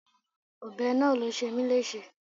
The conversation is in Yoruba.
Ọbẹ̀ náà ló ṣe mí léṣe.